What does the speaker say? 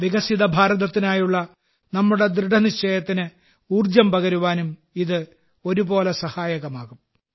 വികസിത ഭാരതത്തിനായുള്ള നമ്മുടെ ദൃഢനിശ്ചയത്തിന് ഊർജം പകരുവാനും ഇത് ഒരുപോലെ സഹായകമാകും